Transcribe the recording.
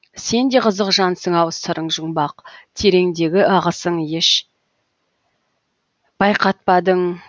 сен де қызық жансың ау сырың жұмбақ тереңдегі ағысың еш байқатпадың